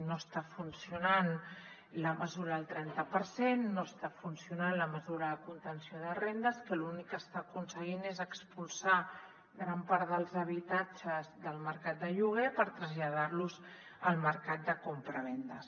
no està funcionant la mesura del trenta per cent no està funcionant la mesura de contenció de rendes que l’únic que està aconseguint és expulsar gran part dels habitatges del mercat de lloguer per traslladar los al mercat de compravendes